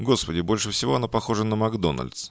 господи больше всего она похожа на макдональдс